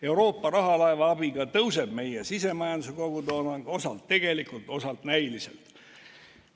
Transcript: Euroopa rahalaeva abiga tõuseb meie sisemajanduse kogutoodang osalt tegelikult, osalt näiliselt.